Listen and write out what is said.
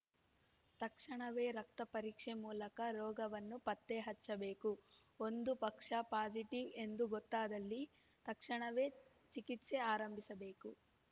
ತಕ್ಷಣವೇ ರಕ್ತಪರೀಕ್ಷೆ ಮೂಲಕ ರೋಗವನ್ನು ಪತ್ತೆ ಹಚ್ಚಬೇಕು ಒಂದು ಪಕ್ಷ ಪಾಸಿಟಿವ್‌ ಎಂದು ಗೊತ್ತಾದಲ್ಲಿ ತಕ್ಷಣವೇ ಚಿಕಿತ್ಸೆ ಆರಂಭಿಸಬೇಕು